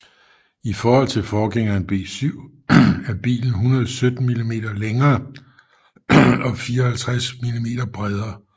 I forhold til forgængeren B7 er bilen 117 mm længere og 54 mm bredere